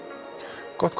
gott